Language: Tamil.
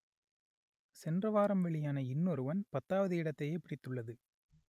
சென்றவாரம் வெளியான இன்னொருவன் பத்தாவது இடத்தையே பிடித்துள்ளது